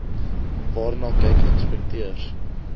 waarna kyk inspekteurs